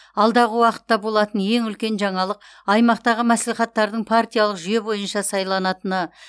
алдағы уақытта болатын ең үлкен жаңалық аймақтағы мәслихаттардың партиялық жүйе бойынша сайланатыны